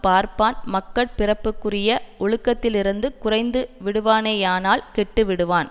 பார்ப்பான் மக்கட் பிறப்புக்குரிய ஒழுக்கத்திலிருந்து குறைந்து விடுவானேயானால் கெட்டுவிடுவான்